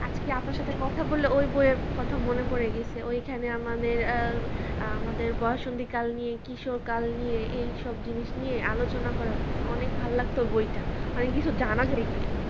আজকে আপনার সাথে কথা বললে ওই বইয়ের কথা মনে পরে গেছে ওই খানে আমাদের আ আমাদের বয়সসন্ধিকাল নিয়ে কিশোর কাল নিয়ে এইসব জিনিস নিয়ে আলোচনা করা হইছে অনেক ভালো লাগতো বই টা অনেক কিছু জানা যাইতো